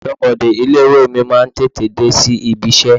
Aṣọbode ilé-ìwé mi máa ń tètè dé sí ibi-iṣẹ́.